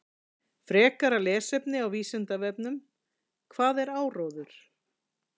Frekara lesefni á Vísindavefnum: Hvað er áróður?